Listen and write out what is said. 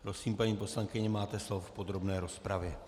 Prosím, paní poslankyně, máte slovo v podrobné rozpravě.